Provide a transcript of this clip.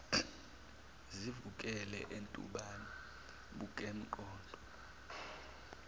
sivukele entumbane kusempondo